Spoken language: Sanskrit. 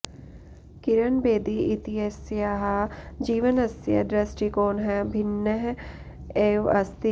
किरण बेदी इत्यस्याः जीवनस्य दृष्टिकोणः भिन्नः एव अस्ति